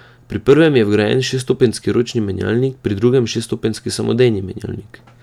Pri prvem je vgrajen šeststopenjski ročni menjalnik, pri drugem šeststopenjski samodejni menjalnik.